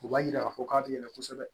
O b'a jira k'a fɔ k'a bɛ yɛlɛ kosɛbɛ